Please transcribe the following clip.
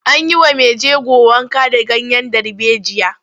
An yi wa mai jego wanka da ganyen darbejiya.